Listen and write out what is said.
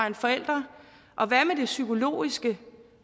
en forælder og hvad med det psykologiske